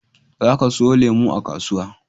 Za ka siyo lemu a kasuwa